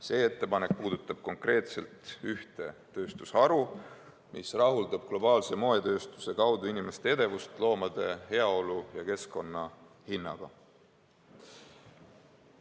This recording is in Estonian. See ettepanek puudutab konkreetselt ühte tööstusharu, mis rahuldab globaalse moetööstuse kaudu inimeste edevust loomade heaolu ja keskkonna hinnaga.